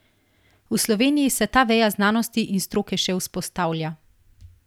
V Sloveniji se ta veja znanosti in stroke še vzpostavlja.